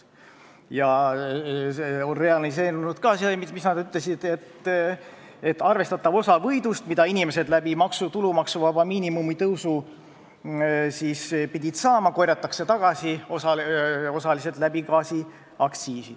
Ja realiseerunud on seegi nende ennustus, et arvestatav osa võidust, mis inimesed tänu tulumaksuvaba miinimumi tõusule peaks saama, korjatakse aktsiisi tõstes tagasi.